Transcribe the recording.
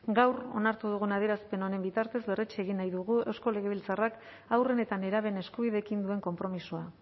gaur onartu dugun adierazpen honen bitartez berretsi egin nahi dugu eusko legebiltzarrak haurren eta nerabeen eskubideekin duen konpromisoa